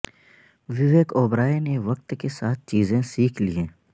وویک اوبرائے نے وقت کے ساتھ چیزیں سیکھ لی ہیں